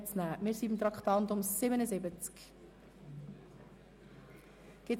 Wir sind bei Traktandum 77 angelangt.